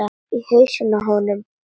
Í hausinn á honum.